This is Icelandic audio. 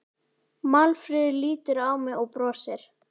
Málfríður lítur á mig og brosir.